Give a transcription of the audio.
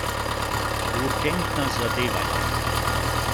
Urgentna zadeva je!